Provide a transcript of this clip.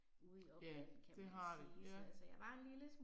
Ja, det har det, ja